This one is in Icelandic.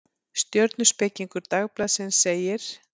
Stjörnuspekingur Dagblaðsins segir: